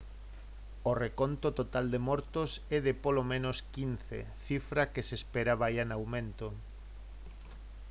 o reconto total de mortos é de polo menos 15 cifra que se espera vaia en aumento